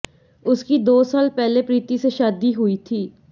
उसकी दो साल पहले प्रीति से शादी हुई थी